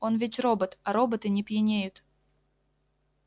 он ведь робот а роботы не пьянеют